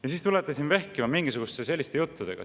Ja siis tulete siin vehkima mingisuguste selliste juttudega.